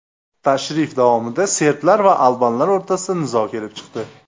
Tashrif davomida serblar va albanlar o‘rtasida nizo kelib chiqdi.